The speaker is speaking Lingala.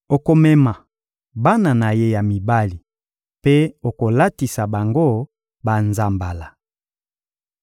Okomema bana na ye ya mibali mpe okolatisa bango banzambala.